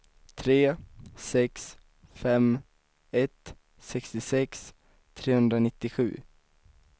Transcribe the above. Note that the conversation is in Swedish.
tre sex fem ett sextiosex trehundranittiosju